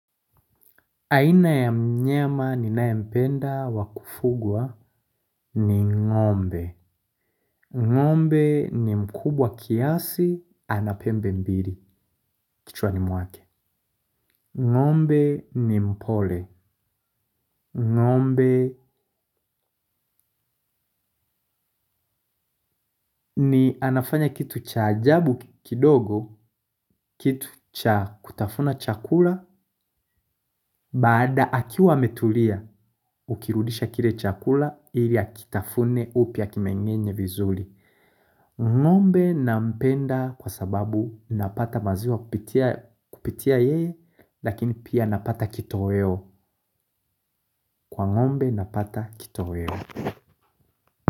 Aina ya mnyama ninayempenda wa kufugwa ni ng'ombe. Ngombe ni mkubwa kiasi, ana pembe mbili, kichwani mwake. Ngombe ni mpole. Ngombe anafanya kitu cha ajabu kidogo, kitu cha kutafuna chakula, baada akiwa ametulia, hukirudisha kile chakula, ili akitafune upya akimeng'enye vizuri. Ng'ombe nampenda kwa sababu napata maziwa kupitia yeye, lakini pia napata kitoweo, kwa ng'ombe napata kitoweo.